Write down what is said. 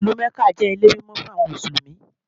Ìlú Mẹ́kà jẹ́ ilé mímọ́ fún àwọn Mùsùlùmí.